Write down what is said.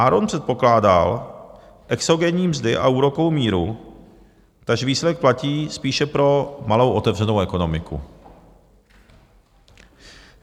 Aaron předpokládal exogenní mzdy a úrokovou míru, takže výsledek platí spíše pro malou otevřenou ekonomiku.